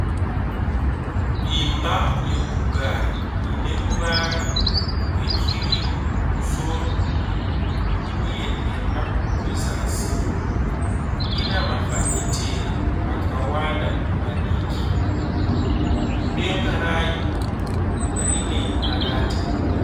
Imba yokugara ine ruvara rwekirimu kumusoro uye nhema kuzasi, ina mafafitera akawanda madiki. Denga rayo rine marata.